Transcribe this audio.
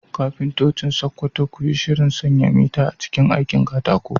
Kafintocin Sakkwato, ku yi shirin sanya mita a cikin aikin katako